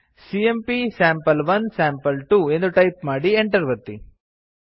CMP sample one sample two ಎಂದು type ಮಾಡಿ enter ಒತ್ತಿ